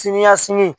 Sini ɲɛsigi